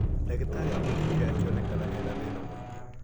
Dagĩtarĩ amũthimire akĩonekena ena thĩna mingĩ.